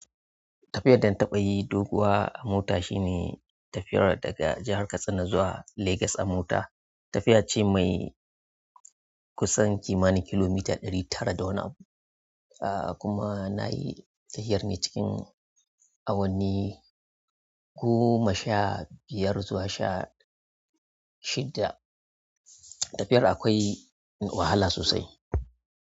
Tafiyar da na taɓa yi doguwa a mota shine tafiyar daga jahar Katsina zuwa Legas a mota. Tafiya ce mai kusan kimanin kilomita ɗari tara da wani abun, ah kuma na yi tafiyar ne cikin awanni goma sha biyar zuwa sha shidda. Tafiyar akwai wahala sosai.